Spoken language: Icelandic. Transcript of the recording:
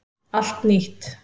Allt nýtt